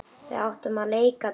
Við áttum að leika dýr.